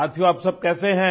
साथियो आप सब कैसे हैं